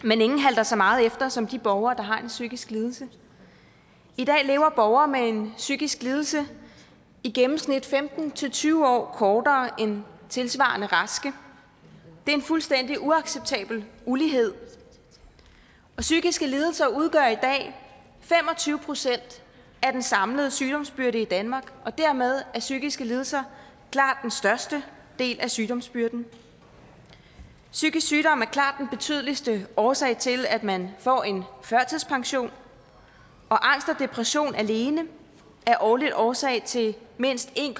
men ingen halter så meget efter som de borgere der har en psykisk lidelse i dag lever borgere med en psykisk lidelse i gennemsnit femten til tyve år kortere end tilsvarende raske det er en fuldstændig uacceptabel ulighed og psykiske lidelser udgør i dag fem og tyve procent af den samlede sygdomsbyrde i danmark og dermed er psykiske lidelser klart den største del af sygdomsbyrden psykisk sygdom er klart den betydeligste årsag til at man får en førtidspension og angst og depression alene er årligt årsag til mindst en